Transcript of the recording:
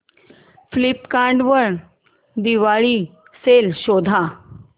Flipkart वर Diwali sale शोधा